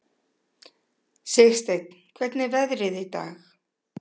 Sigsteinn, hvernig er veðrið í dag?